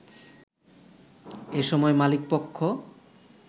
এসময় মালিকপক্ষ